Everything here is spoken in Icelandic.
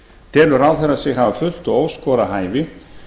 telur ráðherra sig hafa fullt og óskorað hæfi